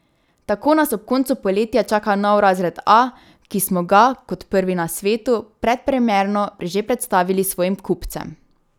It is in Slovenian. Tako nas ob koncu poletja čaka nov razred A, ki smo ga, kot prvi na svetu, predpremierno že predstavili svojim kupcem.